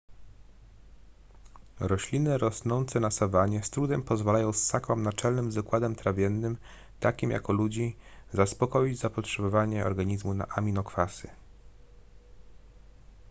rośliny rosnące na sawannie z trudem pozwalają ssakom naczelnym z układem trawiennym takim jak u ludzi zaspokoić zapotrzebowanie organizmu na aminokwasy